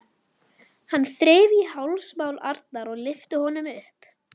Hann þreif í hálsmál Arnar og lyfti honum upp.